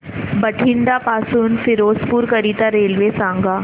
बठिंडा पासून फिरोजपुर करीता रेल्वे सांगा